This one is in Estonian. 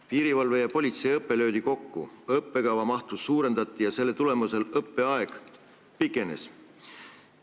Piirivalve- ja politseiõpe löödi kokku, õppekava mahtu suurendati ja selle tulemusel õppeaeg pikenes.